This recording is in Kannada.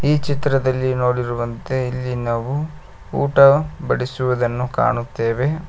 ಈ ಚಿತ್ರದಲ್ಲಿ ನೋಡಿರುವಂತೆ ಇಲ್ಲಿ ನಾವು ಊಟ ಬಡಿಸುವುದನ್ನು ಕಾಣುತ್ತೆವೆ.